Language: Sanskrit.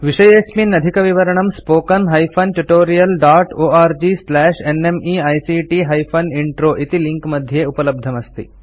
अस्य विषये अधिकविवरणं spoken hyphen tutorial dot org slash NMEICT hyphen intro इति लिंक मध्ये उपलब्धमस्ति